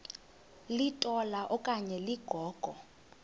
litola okanye ligogo